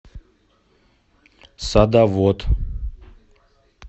садовод